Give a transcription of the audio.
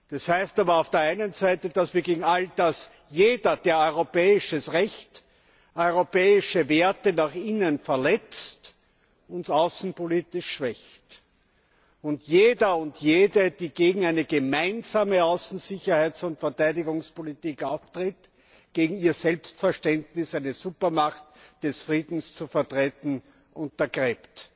Das heißt aber auf der einen Seite, dass jeder, der europäisches Recht, europäische Werte nach innen verletzt, uns außenpolitisch schwächt, und jeder und jede, die gegen eine gemeinsame Außen Sicherheits und Verteidigungspolitik auftritt, Ihr Selbstverständnis, eine Supermacht des Friedens zu vertreten, untergräbt.